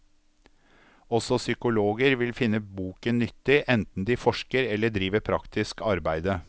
Også psykologer vil finne boken nyttig, enten de forsker eller driver praktisk arbeide.